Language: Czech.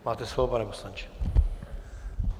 Máte slovo, pane poslanče.